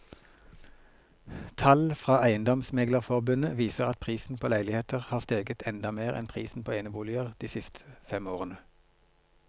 Tall fra eiendomsmeglerforbundet viser at prisen på leiligheter har steget enda mer enn prisen på eneboliger de siste fem årene.